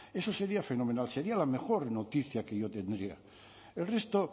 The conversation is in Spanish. eso sería fenomenal sería la mejor noticia que yo tendría el resto